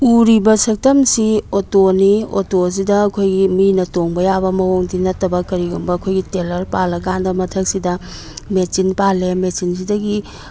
ꯎꯔꯤꯕ ꯁꯛꯇꯝꯁꯤ ꯑꯣꯇꯣ ꯅꯤ ꯑꯣꯇꯣ ꯑꯁꯤꯗ ꯈꯣꯏꯒꯤ ꯃꯤꯅ ꯇꯣꯡꯕ ꯌꯥꯕ ꯃꯑꯣꯡꯗꯤ ꯅꯠꯇꯕ ꯀꯔꯤꯒꯨꯝꯕ ꯈꯣꯏꯒꯤ ꯇꯦꯂꯔ ꯄꯥꯜꯂꯀꯥꯟꯗ ꯃꯊꯛꯁꯤꯗ ꯃꯆꯤꯟ ꯄꯥꯜꯂꯦ ꯃꯆꯤꯟ ꯁꯤꯗꯒꯤ --